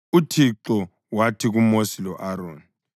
UThixo wathi kuMosi lo-Aroni,